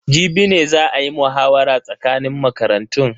Jibi ne za a yi muhawara tsakanin makarantun.